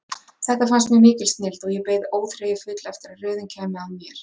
Þetta fannst mér mikil snilld og ég beið óþreyjufull eftir að röðin kæmi að mér.